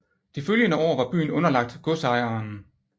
De følgende år var byen underlagt godsejeren